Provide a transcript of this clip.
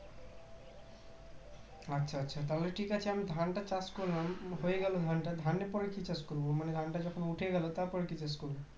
আচ্ছা আচ্ছা তাহলে ঠিক আছে আমি ধানটা চাষ করলাম হয়ে গেল ধানটা ধানের পরে কি চাষ করব মানে ধানটা যখন উঠে গেল তারপরে কি চাষ করব